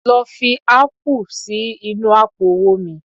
lọ fi ápù sí inú àpò owó mi